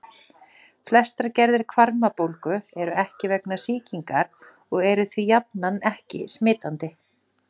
Flestar gerðir hvarmabólgu eru ekki vegna sýkingar og eru því jafnan ekki smitandi.